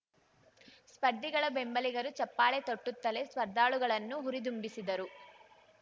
ಸ್ಪರ್ಧಿಗಳ ಬೆಂಬಲಿಗರು ಚಪ್ಪಾಳೆ ತಟ್ಟುತ್ತಲೆ ಸ್ಪರ್ಧಾಳುಗಳನ್ನು ಹುರಿದುಂಬಿಸಿದರು